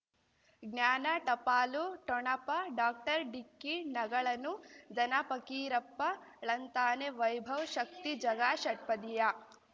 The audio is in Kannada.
ಜ್ಞಾನ ಟಪಾಲು ಠೊಣಪ ಡಾಕ್ಟರ್ ಢಿಕ್ಕಿ ಣಗಳನು ಧನ ಫಕೀರಪ್ಪ ಳಂತಾನೆ ವೈಭವ್ ಶಕ್ತಿ ಝಗಾ ಷಟ್ಪದಿಯ